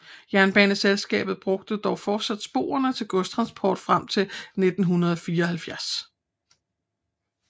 Jernbaneselskabet brugte dog fortsat sporene til godstransport frem til 1974